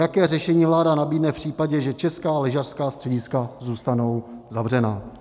Jaké řešení vláda nabídne v případě, že česká lyžařská střediska zůstanou zavřená?